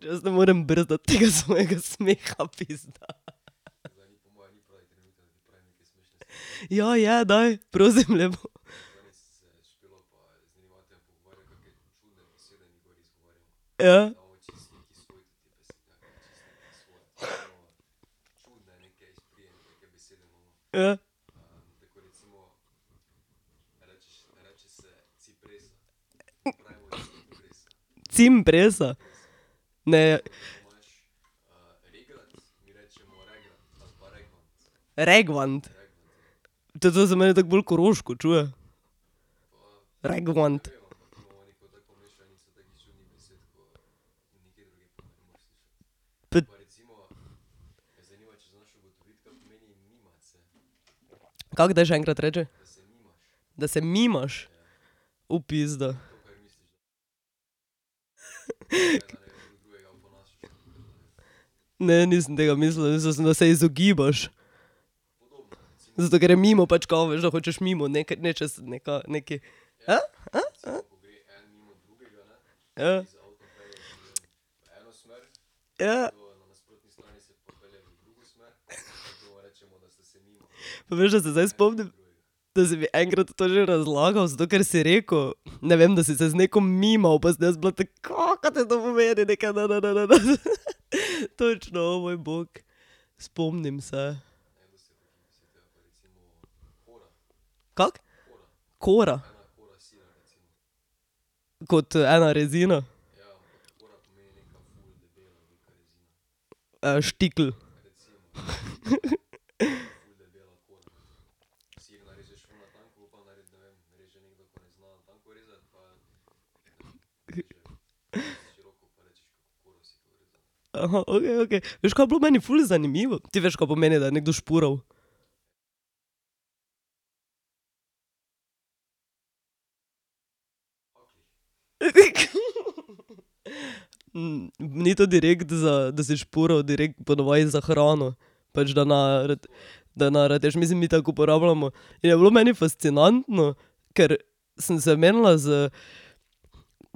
Jaz ne morem brez da tega svojega smeha, pizda. Ja, je, daj, prosim lepo. Ja. Ja. Cimpresa? Ne. Regvant? to se meni tako bolj koroško čuje. Regvant. ... Kako, daj še enkrat reči. Da se mimaš? pizda. Ne, nisem tega mislila, mislila sem, da se izogibaš. Zato, ker je mimo pač, kao veš da hočeš mimo nečesa, nekaj, neki, Ja. Ja. Pa veš, da se zdaj spomnim. Da si mi enkrat to že razlagal, zato ker si rekel, ne vem, da si se z neko mimov pa sem jaz bila tako: "Ka? Ka te to pomeni, neke ne, ne, ne, ne, ne?" Točno, moj bog. Spomnim se. Kako? Kora? Kot ena rezina? štikel. okej, okej. Veš, kaj je bilo meni ful zanimivo? Ti veš, ka pomeni, da je nekdo špural? Ni to direkt za, da si špural, direkt ponavadi za hrano. Pač, da naja rad, da je naja, mislim mi tako uporabljamo, in je bilo meni fascinantno, ker sem se menila z,